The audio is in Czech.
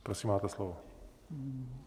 Prosím, máte slovo.